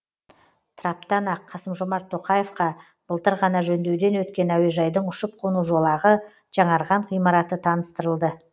траптан ақ қасым жомарт тоқаевқа былтыр ғана жөндеуден өткен әуежайдың ұшып қону жолағы жаңарған ғимараты таныстырылды